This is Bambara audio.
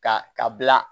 Ka ka bila